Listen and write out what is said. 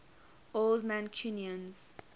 old mancunians